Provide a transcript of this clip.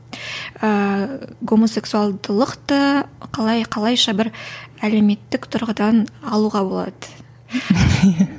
ыыы гомосексуалдылықты қалай қалайша бір әлеуметтік тұрғыдан алуға болады